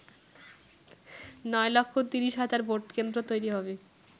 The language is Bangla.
নয় লক্ষ ৩০ হাজার ভোটকেন্দ্র তৈরী হবে।